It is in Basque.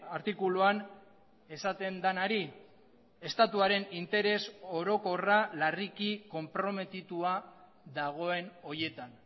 artikuluan esaten denari estatuaren interes orokorra larriki konprometitua dagoen horietan